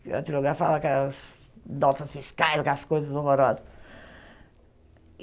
Datilografava aquelas notas fiscais, aquelas coisas horrorosas.